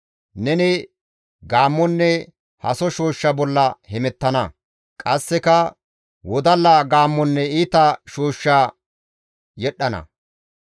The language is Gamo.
Neni gaammonne haso shooshsha bolla hemettana; qasseka wodalla gaammonne iita shooshsha yedhdhana.